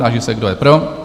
Táži se, kdo je pro?